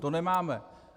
To nemáme.